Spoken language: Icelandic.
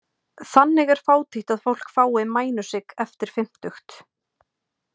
Þannig er fátítt að fólk fái mænusigg eftir fimmtugt.